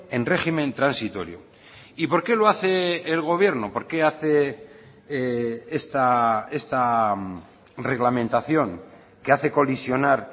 en régimen transitorio y por qué lo hace el gobierno por qué hace esta reglamentación que hace colisionar